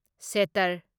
shutter